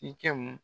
I kɛmu